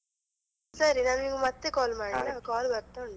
ಸರಿ ನಾನು ನಿಮ್ಗೆ ಮತ್ತೆ call ಮಾಡ್ಲಾ, call ಬರ್ತ ಉಂಟು.